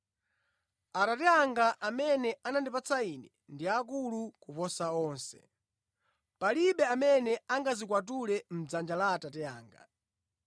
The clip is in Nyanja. Atate anga, amene anandipatsa Ine, ndi akulu kuposa onse. Palibe amene angazikwatule mʼdzanja la Atate anga.